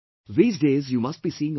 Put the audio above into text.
These days you must be seeing on T